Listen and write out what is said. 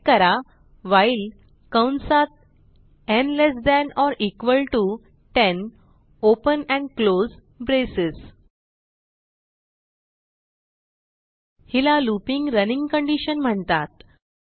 type करा while कंसात न् less than or equal to 10 open and close braces हिला लूपिंग रनिंग कंडिशन म्हणतात